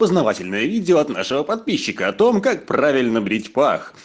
познавательное видео от нашего подписчика о том как правильно брить пах